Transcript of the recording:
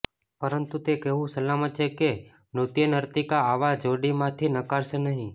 પરંતુ તે કહેવું સલામત છે કે નૃત્યનર્તિકા આવા જોડીમાંથી નકારશે નહીં